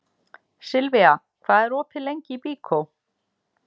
Silvía, hvað er opið lengi í Byko?